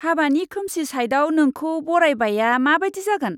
हाबानि खोमसि साइडआव नोंखौ बरायबायआ माबायदि जागोन!